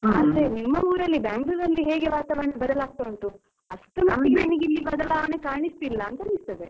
ಹಾ ಆದ್ರೆ ನಿಮ್ಮ ಊರಲ್ಲಿ Bangalore ಅಲ್ಲಿ ವಾತಾವರಣ ಬದಲಾಗ್ತಾ ಉಂಟು ಅಷ್ಟರಮಟ್ಟಿಗೆ ಇಲ್ಲಿ ಬದಲಾವಣೆ ಕಾಣಿಸ್ತಿಲ್ಲ ಅಂತಾ ಅನ್ನಿಸ್ತದೆ.